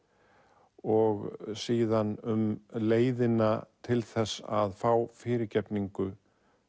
og síðan um leiðina til að fá fyrirgefningu